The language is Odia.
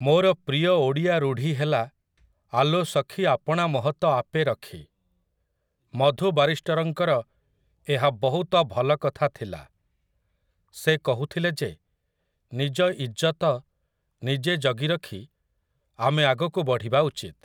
ମୋର ପ୍ରିୟ ଓଡ଼ିଆ ରୂଢ଼ି ହେଲା 'ଆଲୋ ସଖୀ ଆପଣା ମହତ ଆପେ ରଖି' । ମଧୁ ବାରିଷ୍ଟରଙ୍କର ଏହା ବହୁତ ଭଲ କଥା ଥିଲା। ସେ କହୁଥିଲେ ଯେ ନିଜ ଇଜ୍ଜତ ନିଜେ ଜଗି ରଖି ଆମେ ଆଗକୁ ବଢ଼ିବା ଉଚିତ ।